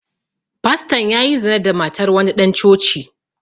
Fastan ya yi zina da matar wani ɗan coci